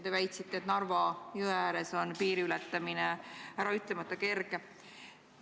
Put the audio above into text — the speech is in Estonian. Te väitsite, et Narva jõe ääres on piiri ületamine äraütlemata kerge.